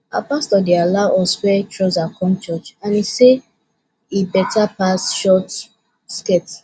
our pastor dey allow us wear trouser come church and he say e better pass short skirt